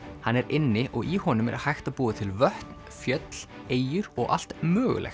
hann er inni og í honum er hægt að búa til vötn fjöll eyjur og allt mögulegt